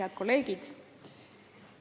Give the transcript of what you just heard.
Head kolleegid!